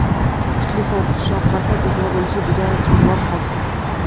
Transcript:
Kuchli sovuq tushishi oqibatida zilzila bo‘lishi juda kamyob hodisa.